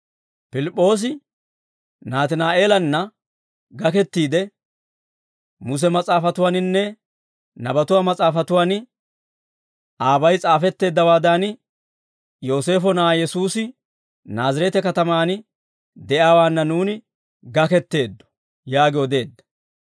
Pilip'oosi Naatinaa'eelanna gakettiide, «Muse mas'aafatuwaaninne Nabatuwaa mas'aafatuwaan aabay s'afetteeddawaadan, Yooseefo na'aa Yesuusi Naazireete katamaan de'iyaawaanna nuuni gaketteeddo» yaagi odeedda.